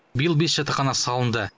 биыл бес жатақхана салынды